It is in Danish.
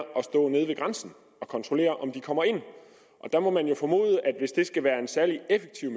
nede ved grænsen og kontrollere om de kommer ind der må man jo formode at hvis det skal være en særlig effektiv